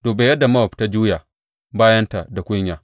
Duba yadda Mowab ta juya bayanta da kunya!